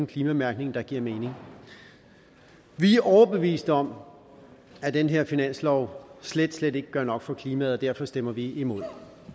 klimamærkning der giver mening vi er overbeviste om at den her finanslov slet slet ikke gør nok for klimaet og derfor stemmer vi imod